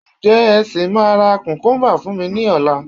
Ǹjẹ́ ẹ sì máa ra kùkúńbà fún mi lọ́la?